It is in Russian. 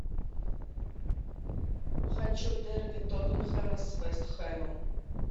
хочу дерби тоттенхэма с вест хэмом